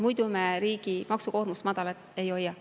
Muidu me riigi maksukoormust madalal ei hoia.